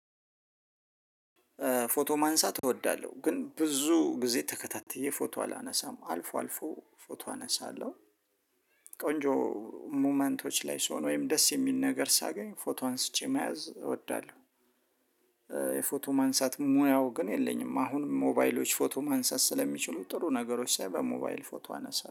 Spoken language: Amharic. ፎቶ ማንሳት እወዳለሁ ግን ብዙ ጊዜ ተከታትዬ ፎቶ አላነሳም አልፎ አልፎ ፎቶ አነሳለሁ። ቆንጆ ሙመንቶች ላይ ስሆን ወይም ደስ የሚል ነገር ሳገኝ ፎቶ አንስቼ መያዝ እወዳለሁ። የፎቶ ማንሳት ሙያው ግን የለኝም አሁንም ሞባይሎች ፎቶ ማንሳት ስለሚችሉ ጥሩ ነገሮች ሳይ በሞባይል ፎቶ አነሳለሁ።